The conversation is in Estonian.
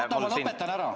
Oota, ma lõpetan ära!